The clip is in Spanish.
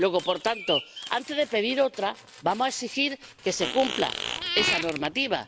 Luego, por tanto, antes de pedir otra, vamos a exigir que se cumpla esa normativa.